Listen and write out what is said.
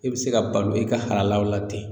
I be se ka balo e ka halalaw la ten